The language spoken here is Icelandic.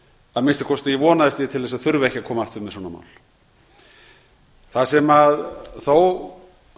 að minnsta kosti vonaðist ég til að þurfa ekki að koma aftur með svona mál það sem þó